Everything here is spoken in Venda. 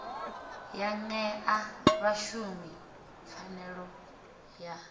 ya ṅea vhashumi pfanelo ya